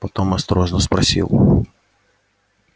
потом осторожно спросил